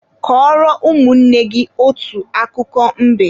Kọrọ ụmụnne gị otu akụkọ mbe!